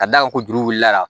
Ka da kan ko juru wulila la